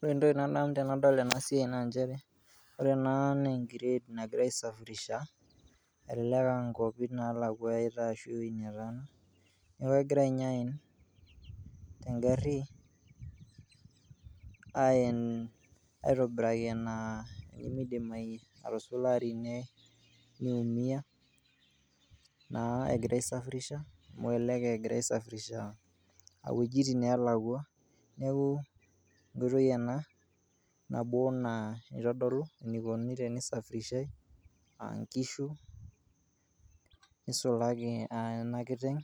Ore entoki nanu tenadol ena siai naa njere ore ena naa nkired nagirai aisafirisha elelek a nkuapi nalakua eyaitai ashu ee wuoi netaana. Neeku egirai nye aen teng'ari aen aitobira naa pee midim atusulari niumia naa egirai aisafirisha amu elelek egirai aisafirisha wojitin neelakua. Neeku enkoitoi ena nabo naa itodolu enikoni tenisafirishai a nkishu, nisulaki a ena kiteng'